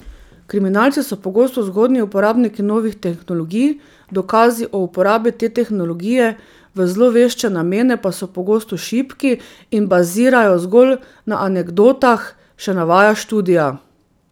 Kriminalci so pogosto zgodnji uporabniki novih tehnologij, dokazi o uporabi te tehnologije v zlovešče namene pa so pogosto šibki in bazirajo zgolj na anekdotah, še navaja študija.